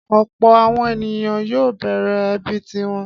Ọ̀pọ̀ àwọn ènìyàn yóò bẹ̀rẹ̀ ẹbí ti wọn.